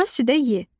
Doğra südə ye.